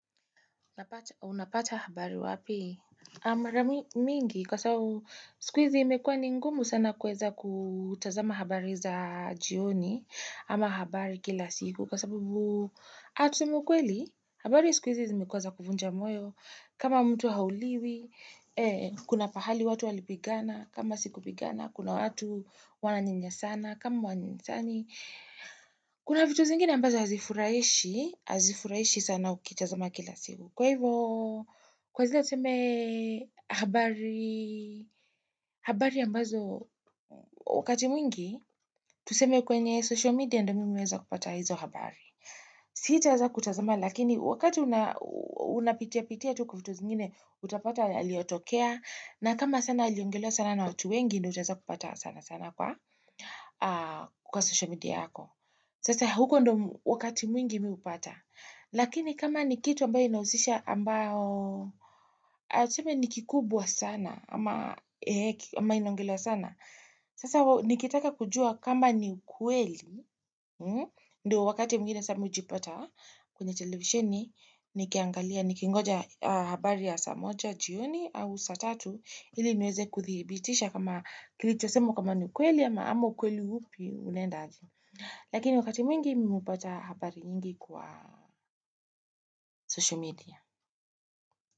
Unapata habari wapi? Amara mingi kwa sababu siku hizi imekuwa ningumu sana kueza kutazama habari za jioni ama habari kila siku kwa sababu atumukweli habari siku hizi zimekuwa za kuvunja moyo kama mtu hauliwi kuna pahali watu walipigana kama siku pigana kuna watu wananyanya sana kama hawanyanya sani kuna vitu zingine ambazo azifurahishi azifurahishi sana ukitazama kila siku. Kwa hivo, kwa zile tuseme habari, habari ambazo wakati mwingi, tuseme kwenye social media ndo nimiweza kupata hizo habari. Sitaeza kutazama, lakini wakati unapitia pitia vitu zingine, utapata yaliotokea, na kama sana aliongelo sana na watu wengi, niti waza kupata sana sana kwa social media yako. Sasa huko ndo wakati mwingi miupata. Lakini kama ni kitu ambayo inausisha ambayo, atuseme nikikubwa sana, ama inaongelewa sana, sasa nikitaka kujua kama ni ukweli, ndo wakati mwingine miujipata kwenye televisheni, nikiangalia, nikingoja habari ya saamoja, jioni, au saatatu, ili niweze kuthibitisha kama kilichosemwa kama ni ukweli, ama ama ukweli hupi unenda aje. Lakini wakati mwingi nimepata habari nyingi kwa social media.